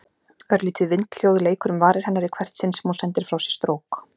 Örlítið vindhljóð leikur um varir hennar í hvert sinn sem hún sendir frá sér strók.